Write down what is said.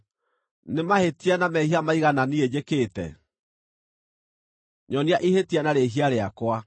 Nĩ mahĩtia na mehia maigana niĩ njĩkĩte? Nyonia ihĩtia na rĩĩhia rĩakwa.